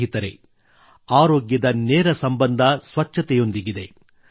ಸ್ನೇಹಿತರೆ ಆರೋಗ್ಯದ ನೇರ ಸಂಬಂಧ ಸ್ವಚ್ಛತೆಯೊಂದಿಗಿದೆ